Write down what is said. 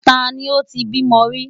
Ta ni ó ti bímọ rí?